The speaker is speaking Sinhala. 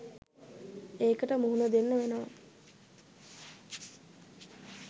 ඒකට මුහුණ දෙන්න වෙනවා.